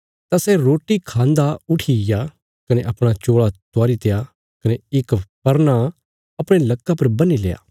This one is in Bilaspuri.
तां सै रोटी खांदा उठीग्या कने अपणा चोल़ा त्वारीत्या कने इक परना अपणे लक्का पर बन्हील्या